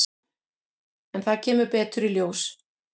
En það kemur betur í ljós.